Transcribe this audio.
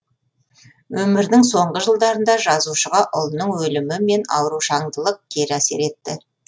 өмірінің соңғы жылдарында жазушыға ұлының өлімі мен аурушаңдылылық кері әсер етті